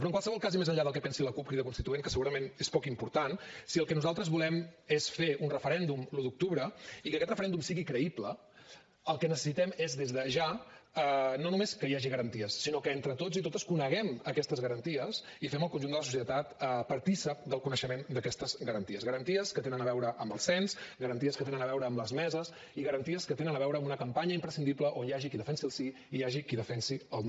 però en qualsevol cas i més enllà del que pensi la cup crida constituent que segurament és poc important si el que nosaltres volem és fer un referèndum l’un d’octubre i que aquest referèndum sigui creïble el que necessitem és des de ja no només que hi hagi garanties sinó que entre tots i totes coneguem aquestes garanties i fem el conjunt de la societat partícip del coneixement d’aquestes garanties garanties que tenen a veure amb el cens garanties que tenen a veure amb les meses i garanties que tenen a veure amb una campanya imprescindible on hi hagi qui defensi el sí i hi hagi qui defensi el no